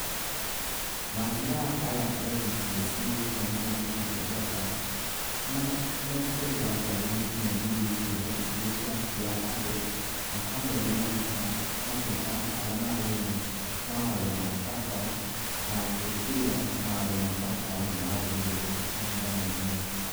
Maabitha aya a NTSA, me hamwe na borithi cia barabara, nĩ matigagĩrĩra ngari nĩ cikinyanĩirie ikĩro iria cirakua andũ, na hamwe nĩ manyitaga matereba arĩa marauna mawatho ma barabara na gũtigĩrĩra mawatho ma barabara nĩ marũmĩrĩrwo mahinda me mothe.